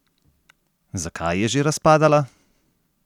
Zakaj je že razpadala?